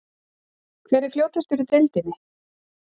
Hver er fljótastur í deildinni?